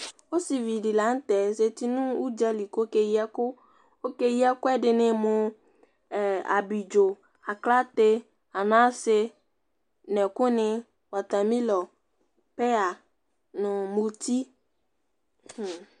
Osivi di la n'tɛ zati nʋ udzali k'okeyi ɛkʋ Okeyi ɛkʋ ɛdini mʋ: abidzo, aklate ananse, n'ɛkʋni, water melon, peya, nʋ muti hmmm !